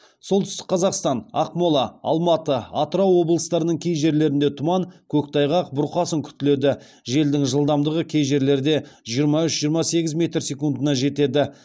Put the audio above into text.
солтүстік қазақстан ақмола алматы атырау облыстарының кей жерлерінде тұман көктайғақ бұрқасын күтіледі желдің жылдамдығы кей жерлерде жиырма үш жиырма сегіз метр секундына жетеді